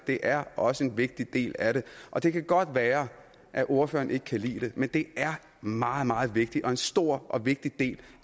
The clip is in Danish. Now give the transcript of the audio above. det er også en vigtig del af det og det kan godt være at ordføreren ikke kan lide det men det er meget meget vigtigt og en stor og vigtig del